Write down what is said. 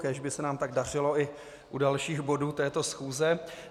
Kéž by se nám tak dařilo i u dalších bodů této schůze.